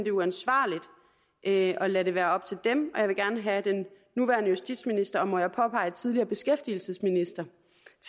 er uansvarligt at lade det være op til dem og jeg vil gerne have den nuværende justitsminister og må jeg påpege tidligere beskæftigelsesminister